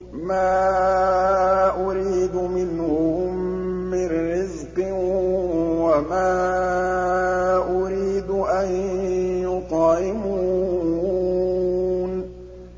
مَا أُرِيدُ مِنْهُم مِّن رِّزْقٍ وَمَا أُرِيدُ أَن يُطْعِمُونِ